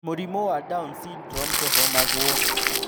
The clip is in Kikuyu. Mũrimũ wa down syndrome ndũhonagwo.